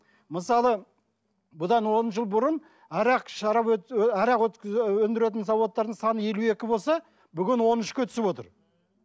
мысалы бұдан он жыл бұрын арақ шарап арақ өндіретін заводтардың саны елу екі болса бүгін он үшке түсіп отыр